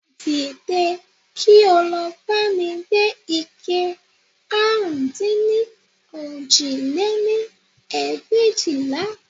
Dìde, kí ó lọ bá mi gbé ike àrún dín ní òjì lé-ní ẹgbẹ̀éjìlá